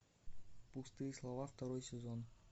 пустые слова второй сезон